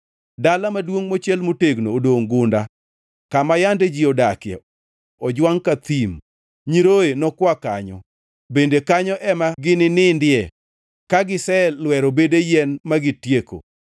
Dala maduongʼ mochiel motegno odongʼ gunda, kama yande ji odakie ojwangʼ ka thim; nyiroye nokwa kanyo bende kanyo ema gini nindie kagiselwero bede yien magitieko.